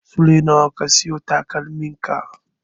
Sule nawa ka siyo takalmin ka?